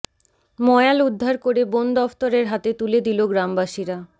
ময়াল উদ্ধার করে বন দফতরের হাতে তুলে দিল গ্রামবাসীরা